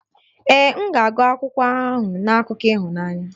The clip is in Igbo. Ee, m ga-agụ akwụkwọ ahụ na akụkọ ịhụnanya